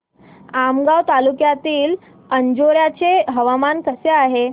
आमगाव तालुक्यातील अंजोर्याचे हवामान कसे आहे